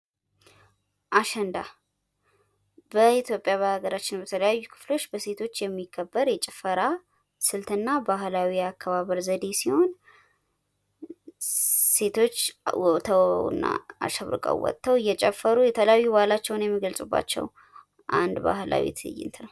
አሸንዳ በኢትዮጵያ በሀገራችን በተለያዩ ክፍሎች በሴቶች የሚከበር የጭፈራ ስልትና ባህላዊ የአከባበር ዘዴ ሲሆን ሴቶች ተውበውና አሸብርቀው ወተው እየጨፈሩ የተለያዩ ባህላቸውን የሚገልፁባቸው አንድ ባህላዊ ትይንት ነው።